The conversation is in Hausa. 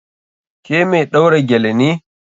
Ke mai ɗaura gele ne?